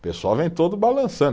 O pessoal vem todo balançando.